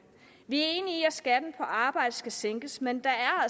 vi er enige i at skatten på arbejde skal sænkes men der er